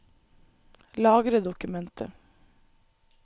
Lagre dokumentet